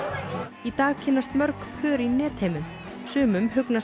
í dag kynnast mörg pör í netheimum sumum hugnast